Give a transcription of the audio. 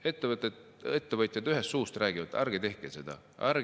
Ettevõtjad räägivad ühest suust: ärge tehke seda!